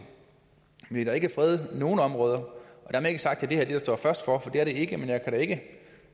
vil vi ikke frede nogen områder dermed ikke sagt at det her vil stå først for for det vil det ikke men jeg kan ikke